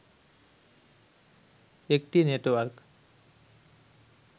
একটি নেটওয়ার্ক